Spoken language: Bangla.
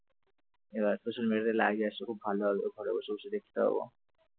আবার social media ই live এ আসলে খুব ভাল হবে ঘরে বসে বসে দেখতে পাবো ।